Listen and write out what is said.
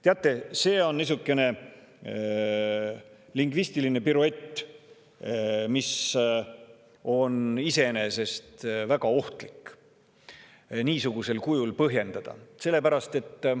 Teate, see on niisugune lingvistiline piruett, seda on iseenesest väga ohtlik niisugusel kujul põhjendada.